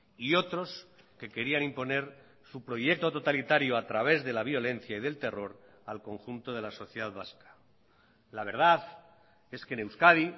y otros que querían imponer su proyecto totalitario a través de la violencia y del terror al conjunto de la sociedad vasca la verdad es que en euskadi